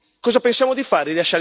Cosa pensiamo di fare?